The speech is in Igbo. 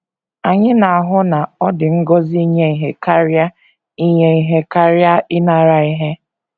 Anyị na - ahụ na “ ọ dị ngọzi inye ihe karịa inye ihe karịa ịnara ihe. ”